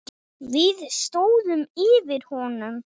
Við stóðum yfir honum.